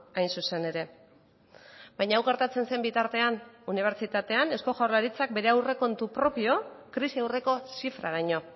hain zuzen ere baina hau gertatzen zen bitartean unibertsitatean eusko jaurlaritzak bere aurrekontu propio krisi aurreko zifraraino